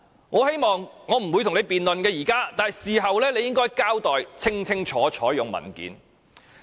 我現在不會與你辯論，但事後你應該用文件清楚交代。